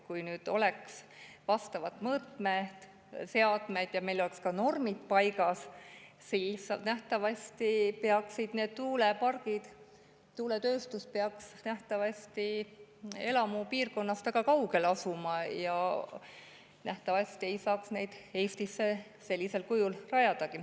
Kui oleks vastavad mõõteseadmed ja meil oleks ka normid paigas, siis peaksid need tuulepargid ja tuuletööstus elupiirkonnast väga kaugel asuma ja nähtavasti ei saaks neid Eestisse sellisel kujul rajadagi.